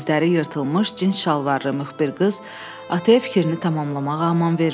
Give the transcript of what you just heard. Dizləri yırtılmış cins şalvarlı müxbir qız ataya fikrini tamamlamağa aman vermədi.